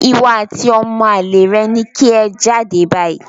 Ìwọ àti ọmọ àlè rẹ ni kí ẹ jáde báyìí